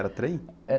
Era trem?